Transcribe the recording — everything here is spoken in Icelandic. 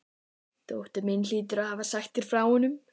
Dóttir mín hlýtur að hafa sagt þér frá honum.